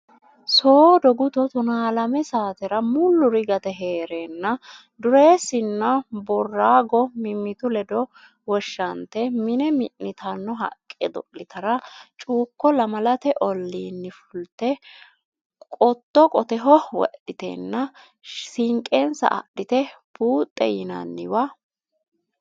Soodo guto tonaa lame saatera mulluri gate hee reenna Dureessinna Boorago mimmitu ledo woshshante mine mi nitanno haqqe do litara Cuukko Lamalate olliinni fulte qotto qoteho wodhitenna sinqensa adhite Buuxxe yinanniwa.